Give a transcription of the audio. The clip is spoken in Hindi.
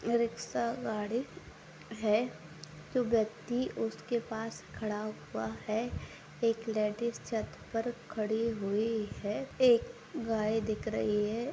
रिक्सा गाड़ी है जो व्यक्ति उसके पास खड़ा हुआ है एक लेडिज छत पर खड़ी हुई है एक गाय दिख रही है।